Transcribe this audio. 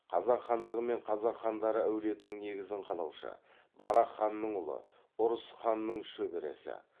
қазақ хандығы мен қазақ хандары әулетінің негізін қалаушы барақ ханның ұлы ұрыс ханның шөбересі